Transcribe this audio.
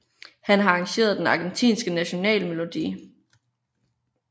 Han har arrangeret den Argentinske National Melodi